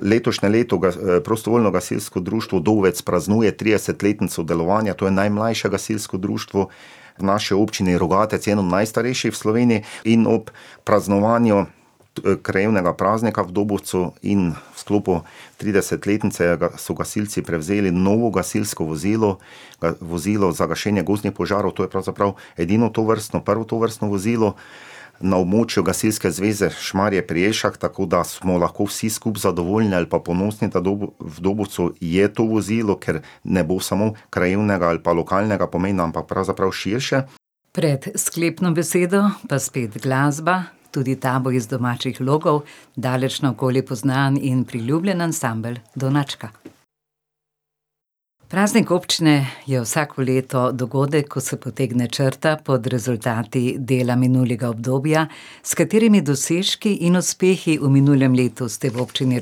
letošnje leto Prostovoljno gasilsko društvo Dovec praznuje tridesetletnico delovanja, to je najmlajše gasilsko društvo v naši občini Rogatec in eno najstarejših v Sloveniji, in ob praznovanju krajevnega praznika v Dobovcu in v sklopu tridesetletnice, da so gasilci prevzeli novo gasilsko vozilo, vozilo za gašenje gozdnih požarov, to je pravzaprav edino tovrstno, prvo tovrstno vozilo na območju Gasilske zveze Šmarje pri Jelšah, tako da smo lahko vsi skupaj zadovoljni ali pa ponosni, da v v Dobovcu je to vozilo, ker ne bo samo krajevnega ali pa lokalnega pomena, ampak pravzaprav širše. Pred sklepno besedo pa spet glasba, tudi ta bo iz domačih logov. Daleč naokoli poznan in priljubljen ansambel Donačka. Praznik občine je vsako leto dogodek, ko se potegne črta pod rezultati dela minulega obdobja. S katerimi dosežki in uspehi v minulem letu ste v Občini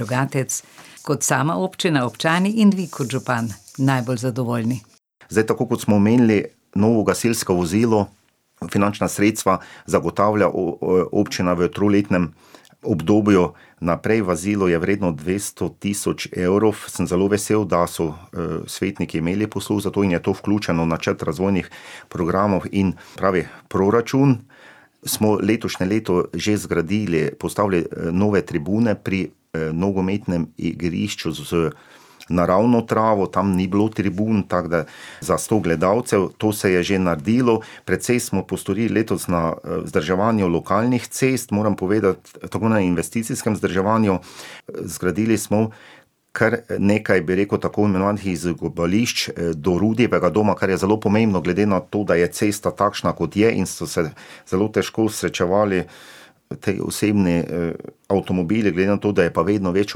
Rogatec kot sama občina, občani in vi kot župan najbolj zadovoljni? Zdaj tako, kot smo omenili, novo gasilsko vozilo, finančna sredstva zagotavlja občina v troletnem obdobju naprej, vozilo je vredno dvesto tisoč evrov, sem zelo vesel, da so, svetniki imeli posluh za to in je to vključeno v načrt razvojnih programov in pravi proračun. Smo letošnje leto že zgradili, postavili, nove tribune pri, nogometnem igrišču z naravno travo, tam ni bilo tribun, tako da, za sto gledalcev, to se je že naredilo. Precej smo postorili letos na, vzdrževanju lokalnih cest, moram povedati, to bo na investicijskem vzdrževanju. zgradili smo kar nekaj, bi rekel, tako imenovanih izogibališč, do Rudijevega doma, kar je zelo pomembno glede na to, da je cesta takšna, kot je, in so se zelo težko srečevali ti osebni, avtomobili, glede na to, da je pa vedno več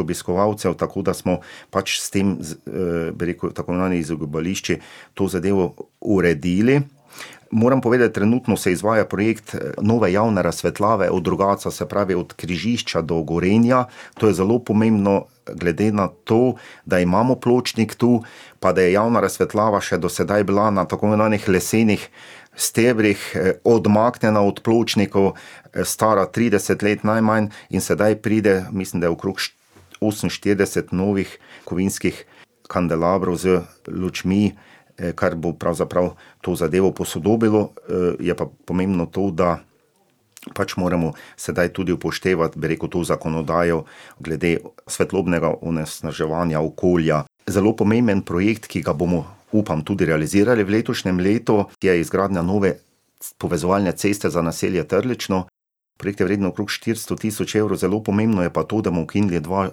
obiskovalcev, tako da smo pač s tem bi rekel, tako imenovanimi izogibališči to zadevo uredili. Moram povedati, trenutno se izvaja projekt, nove javne razsvetljave od Rogatca, se pravi od križišča do Gorenja, to je zelo pomembno, glede na to, da imamo pločnik tu pa da je javna razsvetljava še do sedaj bila na tako imenovanih lesenih stebrih, odmaknjena od pločnikov, stara trideset let najmanj, in sedaj pride, mislim da okrog oseminštirideset novih kovinskih kandelabrov z lučmi, kar bo pravzaprav to zadevo posodobilo. je pa pomembno to, da pač moramo sedaj tudi upoštevati, bi rekel, to zakonodajo glede svetlobnega onesnaževanja okolja. Zelo pomemben projekt, ki ga bomo, upam, tudi realizirali v letošnjem letu, je izgradnja nove povezovalne ceste za naselje Trlično, projekt je vredno okrog štiristo tisoč evrov, zelo pomembno je pa to, da bomo ukinili dva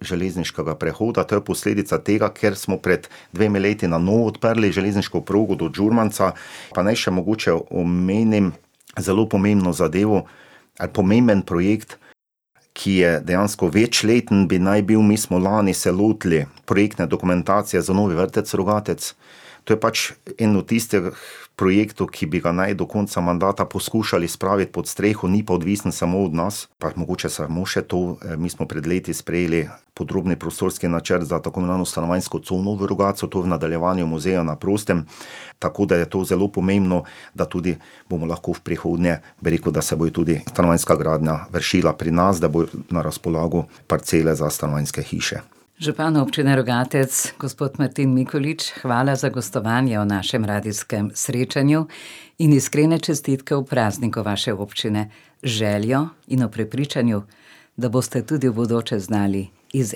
železniška prehoda, to je posledica tega, ker smo pred dvema letoma na novo odprli železniško progo do Žumanca. Pa naj še mogoče omenim zelo pomembno zadevo ali pomemben projekt, ki je, dejansko večleten bi naj bil, mi smo lani se lotili projektne dokumentacije za novi vrtec Rogatec, to je pač en od tistih projektov, ki bi ga naj do konca mandata poskušali spraviti pod streho, ni pa odvisno samo od nas. Pa mogoče samo še to, mi smo pred leti sprejeli podrobni prostorski načrt za tako imenovano stanovanjsko cono v Rogatcu, to v nadaljevanju Muzeja na prostem, tako da je to zelo pomembno, da tudi bomo lahko v prihodnje, bi rekel, da se bojo tudi stanovanjska gradnja vršila pri nas, da bojo na razpolago parcele za stanovanjske hiše. Župan Občine Rogatec, gospod Martin Mikolič, hvala za gostovanje v našem radijskem srečanju in iskrene čestitke ob prazniku vaše občine. Z željo in ob prepričanju, da boste tudi v bodoče znali iz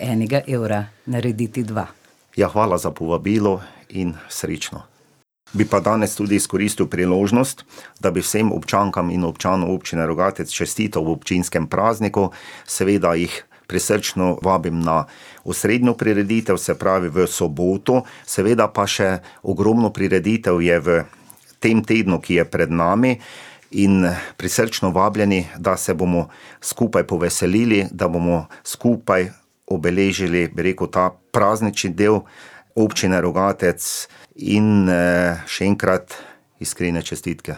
enega evra narediti dva. Ja, hvala za povabilo in srečno. Bi pa danes tudi izkoristili priložnost, da bi vsem občankam in občanom Občine Rogatec čestital ob občinskem prazniku, seveda jih prisrčno vabim na osrednjo prireditev, se pravi v soboto, seveda pa še ogromno prireditev je v tem tednu, ki je pred nami, in prisrčno vabljeni, da se bomo skupaj poveselili, da bomo skupaj obeležili, bi rekel, ta praznični del Občine Rogatec. In, še enkrat iskrene čestitke.